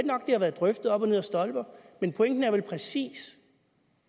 nok at det har været drøftet op ad stolper men pointen er vel præcis